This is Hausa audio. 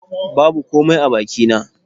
Babu komai a bakina